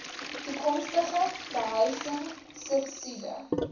toekomstige behuising subsidie